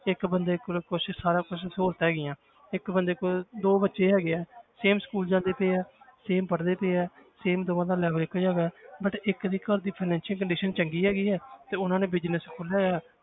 ਇੱਕ ਬੰਦੇ ਕੋਲ ਕੁਛ ਸਾਰਾ ਕੁਛ ਸਹੂਲਤਾਂ ਹੈਗੀਆਂ ਇੱਕ ਬੰਦੇ ਕੋਲ ਦੋ ਬੱਚੇ ਹੈਗੇ ਹੈ same school ਜਾਂਦੇ ਪਏ ਹੈ same ਪੜ੍ਹਦੇ ਪਏ ਹੈ same ਦੋਵਾਂ ਦਾ level ਇੱਕੋ ਜਿਹਾ ਹੈਗਾ ਹੈ but ਇੱਕ ਦੀ ਘਰ ਦੀ financial condition ਚੰਗੀ ਹੈਗੀ ਹੈ ਤੇ ਉਹਨਾਂ ਨੇ business ਖੋਲਿਆ ਹੋਇਆ,